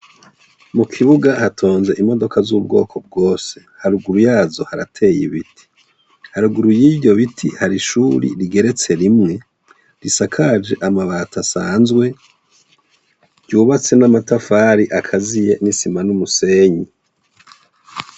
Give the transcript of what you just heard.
Mu kibuga hatonze imodoka z'ubwoko bwose, haruguru yazo harateye ibiti, haruguru y'ivyo biti hari ishuri rigeretse rimwe risakaje amabati asanzwe, ryubatswe n'amatafari akaziye, n'isima, n'umusenyi.